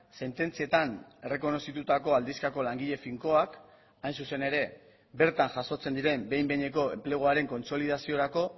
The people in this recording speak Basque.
sententzietan errekonozitutako aldizkako langile finkoak hain zuzen ere bertan jasotzen diren behin behineko enpleguaren kontsolidaziorako